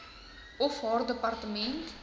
of haar departement